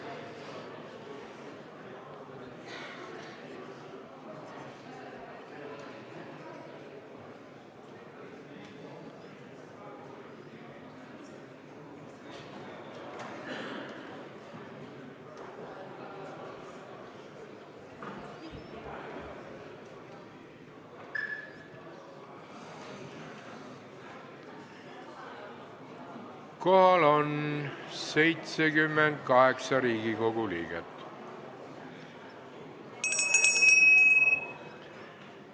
Kohaloleku kontroll Kohal on 78 Riigikogu liiget.